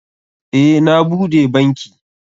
Eh, na bude banki.